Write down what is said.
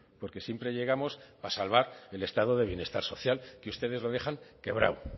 porque siempre llegamos para salvar el estado de bienestar social que ustedes los dejan quebrado